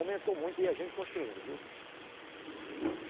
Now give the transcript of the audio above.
Aumentou muito e é gente construindo, viu? Gente